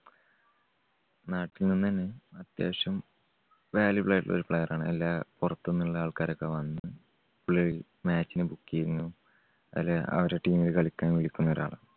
നാട്ടിൽനിന്നുതന്നെ അത്യാവശ്യം valuable ആയിട്ടുള്ള ഒരു player ആണ്. അല്ല പുറത്തുന്നുള്ള ആൾക്കാരൊക്കെ വന്ന് പുള്ളിയെ match ന് book ചെയ്യുന്നു അവരുടെ team ല് കളിക്കാൻ വിളിക്കുന്ന ഒരാളാണ്.